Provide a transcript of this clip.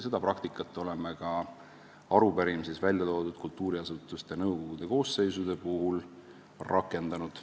Seda praktikat oleme ka arupärimises välja toodud kultuuriasutuste nõukogude koosseisude puhul rakendanud.